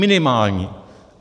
Minimální.